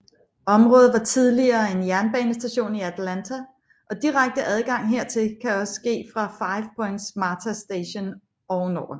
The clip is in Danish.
Området var tidligere en jernbanestation i Atlanta og direkte adgang hertil kan også ske fra five points Marta station ovenover